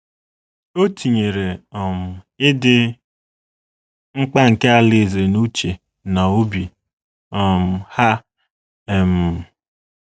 Ọ tinyee um ịdị mkpa nke Alaeze n’uche na n’obi um ha um.